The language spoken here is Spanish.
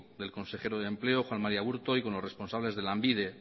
del consejero de empleo juan maría aburto y con los responsables de lanbide